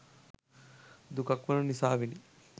දුකක් වන නිසාවෙනි.